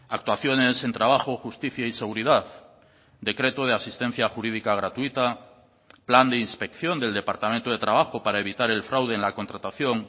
actuaciones en trabajo justicia y seguridad decreto de asistencia jurídica gratuita plan de inspección del departamento de trabajo para evitar el fraude en la contratación